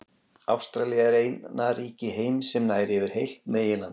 Ástralía er eina ríki heims sem nær yfir heilt meginland.